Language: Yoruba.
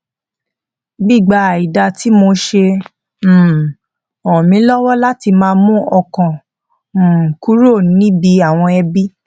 gbígba àìda tí mo ṣe um rán mi lọwọ láti máa mú ọkàn um kúrò níbi àwọn ẹbi